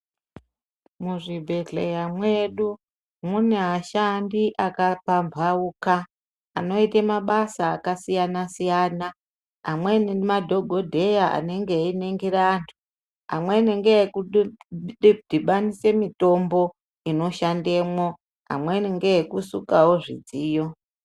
Muzvibhehleya medu mune vashandi vakapauka vanoita mabasa akasiyana siyana amweni madhokodheya teiningira antu amweni ndekudhubanisa mutombo inoshandamo amweni ndekusukawo zvidziyo.